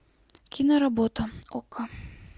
киноработа окко